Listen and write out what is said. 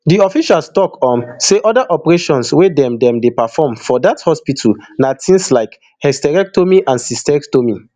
di official tok um say oda operations wey dem dem dey perform for dat hospital na tins like hysterectomy and cystectomy